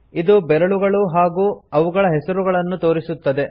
ಇದು ಬೆರಳುಗಳು ಮತ್ತು ಅವುಗಳ ಹೆಸರುಗಳನ್ನು ತೋರಿಸುತ್ತದೆ